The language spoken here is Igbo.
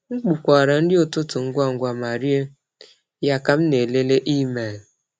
M kpokwara nri ụtụtụ ngwa ngwa ma rie ya ka m na-elele email.